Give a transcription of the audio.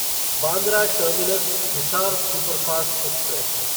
Bandra terminus Hisar superfast express